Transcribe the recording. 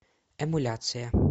эмуляция